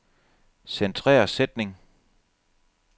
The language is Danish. Centrer sætning.